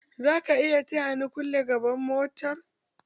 Zaka iya taya ni kulle gaban motar?